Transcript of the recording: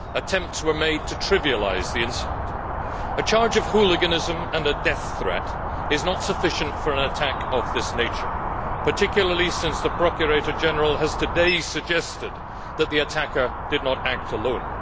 Attempts were made to trivialise the incident. A charge of hooliganism and a death threat is not sufficient for an attack of this nature, particularly since the Procurator General has today suggested that the attacker did not act alone.